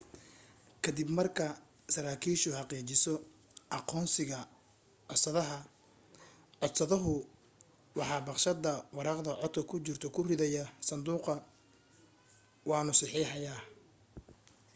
ka dib marka saraakiishu xaqiijiso aqoonsiga codsadaha codsaduhu waxa baqshadda waraaqda codku ku jirto ku ridayaa sanduuqa waanu saxeexayaa